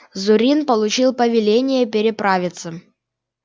зурин получил повеление переправиться